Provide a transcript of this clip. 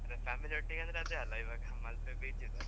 ಅಂದ್ರೆ family ಒಟ್ಟಿಗೆ ಅದೇ ಅಲ್ವ ಇವಾಗ ಮಲ್ಪೆ beach .